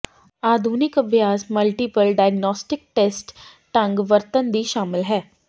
ਆਧੁਨਿਕ ਅਭਿਆਸ multiple diagnostic test ਢੰਗ ਵਰਤਣ ਦੀ ਸ਼ਾਮਲ ਹੈ